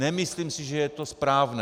Nemyslím si, že je to správné.